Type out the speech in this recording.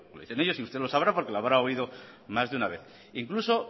dicen ellos y usted lo sabrá porque lo habrá oído más de una vez incluso